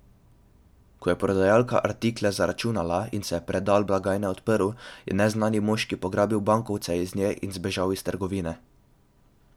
Ko je prodajalka artikle zaračunala in se je predal blagajne odprl, je neznani moški pograbil bankovce iz nje in zbežal iz trgovine.